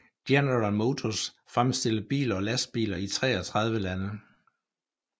General Motors fremstiller biler og lastbiler i 33 lande